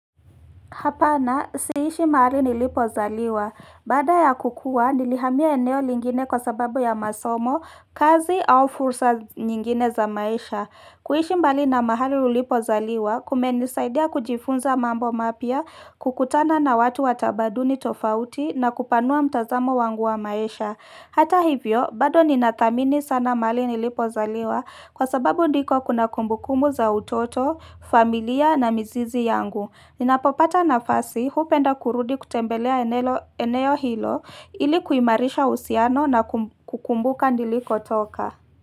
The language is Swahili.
Hapana, si ishi mahali nilipo zaliwa. Baada ya kukua, nilihamia eneo lingine kwa sababu ya masomo, kazi au fursa nyingine za maisha. Kuishi mbali na mahali ulipo zaliwa, kumenisaidia kujifunza mambo mapya, kukutana na watu wa tamaduni tofauti na kupanua mtazamo wangu wa maisha. Hata hivyo, bado ninathamini sana mahali nilipo zaliwa kwa sababu ndiko kuna kumbukumu za utoto, familia na mzizi yangu. Ninapopata nafasi, hupenda kurudi kutembelea eneo hilo ili kuimarisha uhusiano na kukumbuka niliko toka.